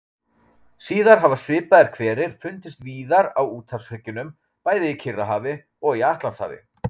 Síðar hafa svipaðir hverir fundist víðar á úthafshryggjunum, bæði í Kyrrahafi og í Atlantshafi.